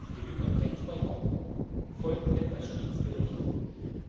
In der jüngeren Rechtsprechung folgten das Schiedsgericht